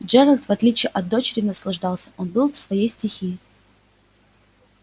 джералд в отличие от дочери наслаждался он был в своей стихии